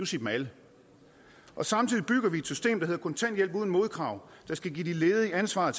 sige dem alle samtidig bygger vi et system der hedder kontanthjælp uden modkrav der skal give de ledige ansvaret